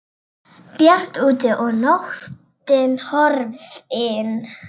Bjart úti og nóttin horfin.